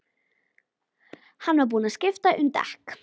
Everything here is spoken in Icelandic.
Hann var búinn að skipta um dekk.